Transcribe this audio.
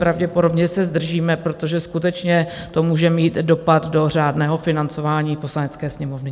Pravděpodobně se zdržíme, protože skutečně to může mít dopad do řádného financování Poslanecké sněmovny.